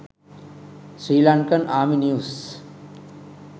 srilankan army news